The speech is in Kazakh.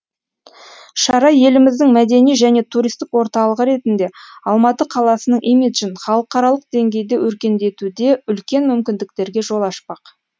шара еліміздің мәдени және туристік орталығы ретінде алматы қаласының имиджін халықаралық деңгейде өркендетуде үлкен мүмкіндіктерге жол ашпақ